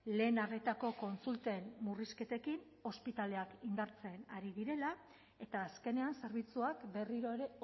lehen arretako kontsulten murrizketekin ospitaleak indartzen ari direla eta azkenean zerbitzuak berriro ere